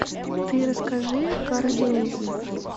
ты расскажи карадениз